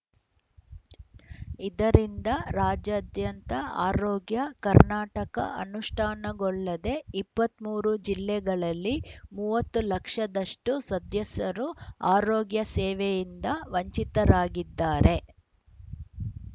ಇದರಿಂದ ರಾಜ್ಯಾದ್ಯಂತ ಆರೋಗ್ಯ ಕರ್ನಾಟಕ ಅನುಷ್ಠಾನಗೊಳ್ಳದೆ ಇಪ್ಪತ್ತ್ ಮೂರು ಜಿಲ್ಲೆಗಳಲ್ಲಿನ ಮೂವತ್ತು ಲಕ್ಷದಷ್ಟುಸದ್ಯಸರು ಆರೋಗ್ಯ ಸೇವೆಯಿಂದ ವಂಚಿತರಾಗಿದ್ದಾರೆ